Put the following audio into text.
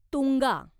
Tunga